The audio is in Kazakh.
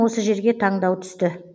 осы жерге таңдау түсті